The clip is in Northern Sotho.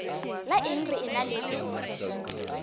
la eng re ena le